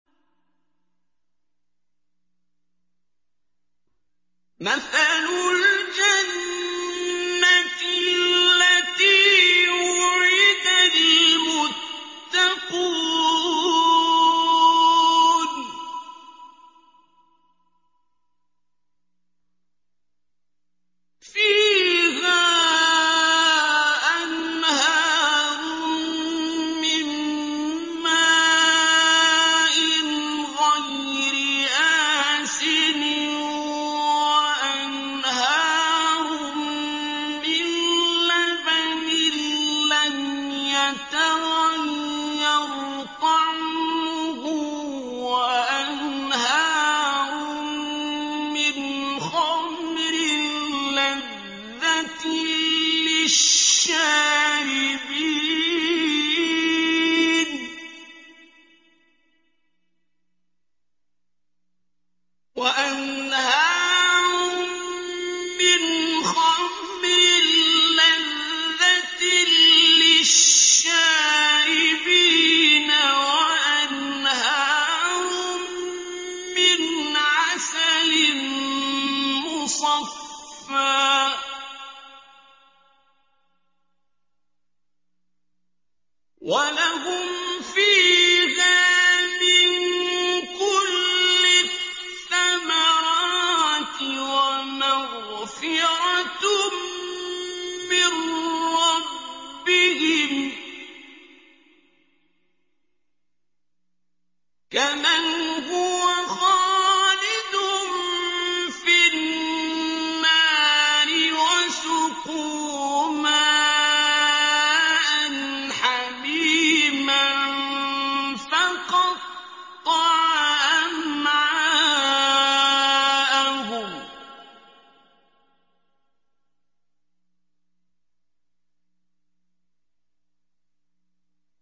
مَّثَلُ الْجَنَّةِ الَّتِي وُعِدَ الْمُتَّقُونَ ۖ فِيهَا أَنْهَارٌ مِّن مَّاءٍ غَيْرِ آسِنٍ وَأَنْهَارٌ مِّن لَّبَنٍ لَّمْ يَتَغَيَّرْ طَعْمُهُ وَأَنْهَارٌ مِّنْ خَمْرٍ لَّذَّةٍ لِّلشَّارِبِينَ وَأَنْهَارٌ مِّنْ عَسَلٍ مُّصَفًّى ۖ وَلَهُمْ فِيهَا مِن كُلِّ الثَّمَرَاتِ وَمَغْفِرَةٌ مِّن رَّبِّهِمْ ۖ كَمَنْ هُوَ خَالِدٌ فِي النَّارِ وَسُقُوا مَاءً حَمِيمًا فَقَطَّعَ أَمْعَاءَهُمْ